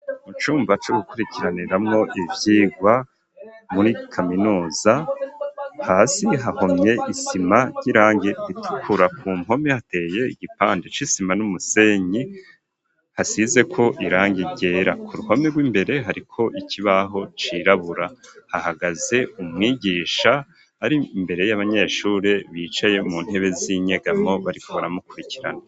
Mu cumba co gukurikiraniramwo ivyigwa muri kaminuza hasi hahomye isima ry'irangi ritukura ku mpome hateye igipande c'isima n'umusenyi hasizeko irangi ryera ku ruhome rw'imbere hariko ikibaho cirabura hahagaze umwigisha ari imbere y'abanyeshure bicaye mu ntebe z'inyegamwo barikubamwo kurikirana.